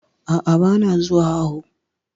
A'a, ba na zuwa awo